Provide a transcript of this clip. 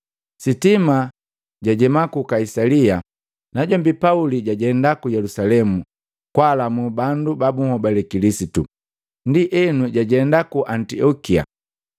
Sitima lajema ku Kaisalia, najombi Pauli jajenda ku Yelusalemu kwaalamu bandu ba bunhobale Kilisitu, ndienu jajenda Antiokia.